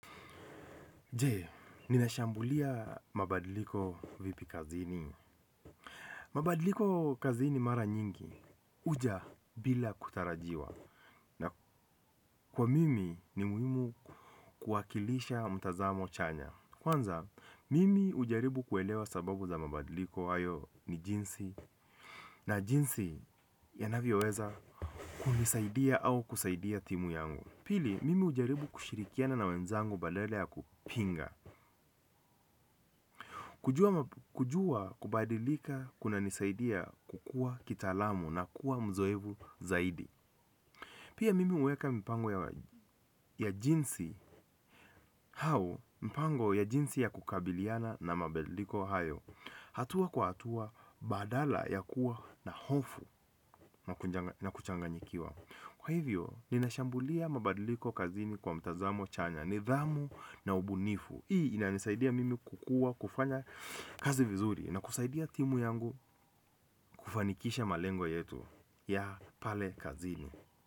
Je ninashambulia mabadiliko vipi kazini? Mabadiliko kazini mara nyingi huja bila kutarajiwa. Na kwa mimi ni muhimu kuwakilisha mtazamo chanya. Kwanza, mimi hujaribu kuelewa sababu za mabadiliko hayo ni jinsi, na jinsi yanavyoweza kunisaidia au kusaidia timu yangu. Pili, mimi hujaribu kushirikiana na wenzangu badala ya kupinga. Kujua kubadilika kunanisaidia kukua kitaalamu na kuwa mzoefu zaidi. Pia mimi huweka mipango ya jinsi au mpango ya jinsi ya kukabiliana na mabadiliko hayo hatua kwa hatua badala ya kuwa na hofu na na kuchanganyikiwa. Kwa hivyo, ninashambulia mabadiliko kazini kwa mtazamo chanya, nidhamu na ubunifu. Hii inanisaidia mimi kukua, kufanya kazi vizuri na kusaidia timu yangu kufanikisha malengo yetu ya pale kazini.